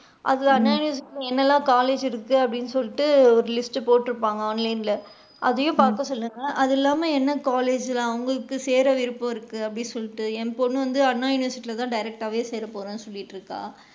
அதுனால என்னலா college இருக்கு அப்படின்னு சொல்லிட்டு ஒரு list டு போட்டுருப்பாங்க online ல. அதையும் பாக்க சொல்லுங்க அது இல்லாம என்ன college ல உங்களுக்கு சேற்ற விருப்பம் இருக்கு அப்படின்னு சொல்லிட்டு என் பொண்ணு வந்து anna university ல தான் direct டாவே சேர போறேன் அப்படின்னு சொல்லிட்டு இருக்கா.